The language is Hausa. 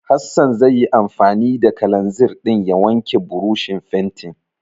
Hassan zai yi anfani da kalanzir ɗin ya wanke burushin fentin.